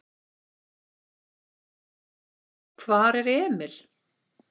Hvar er Emil?